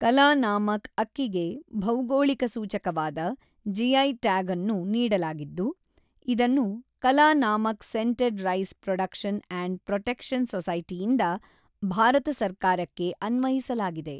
ಕಲನಾಮಕ್ ಅಕ್ಕಿಗೆ ಭೌಗೋಳಿಕ ಸೂಚಕವಾದ - ಜಿಐ ಟ್ಯಾಗ್ಅನ್ನು ನೀಡಲಾಗಿದ್ದು ಇದನ್ನು Kalanamak scented rice production and protection ಸೊಸೈಟಿಯಿಂದ ಭಾರತ ಸರ್ಕಾರಕ್ಕೆ ಅನ್ವಯಿಸಲಾಗಿದೆ.